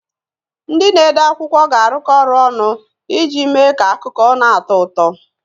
Ndị na-ede akwụkwọ ga-arụkọ ọrụ ọnụ iji mee ka akụkọ na-atọ ụtọ.